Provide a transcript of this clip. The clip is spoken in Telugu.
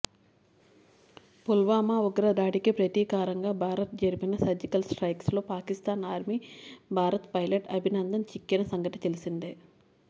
పుల్వామా ఉగ్రదాడికి ప్రతీకారంగా భారత్ జరిపిన సర్జికల్ స్ట్రైక్స్ లోపాకిస్తాన్ ఆర్మీకి భారత్ పైలట్ అభినందన్ చిక్కిన సంగతి తెలిసిందే